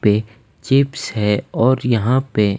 पे चिप्स है और यहाँ पे --